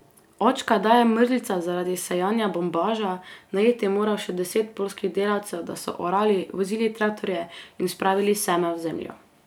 Očka daje mrzlica zaradi sejanja bombaža, najeti je moral še deset poljskih delavcev, da so orali, vozili traktorje in spravili seme v zemljo.